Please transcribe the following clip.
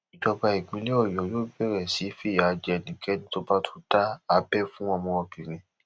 ìjọba ìpínlẹ ọyọ yóò bẹrẹ sí í fìyà jẹ ẹnikẹni tó bá tún da abẹ fún ọmọbìnrin